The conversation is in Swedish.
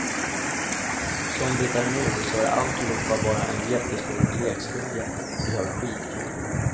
Som det är nu så är alltihopa bara en jättestor lekstuga, vi har skitkul.